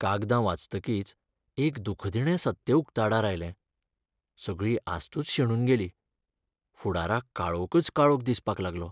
कागदां वाचतकीच एक दूखदिणें सत्य उक्ताडार आयलें, सगळी आस्तूच शेणून गेली, फुडाराक काळोकच काळोक दिसपाक लागलो.